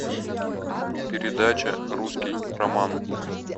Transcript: передача русский роман